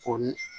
Ko ni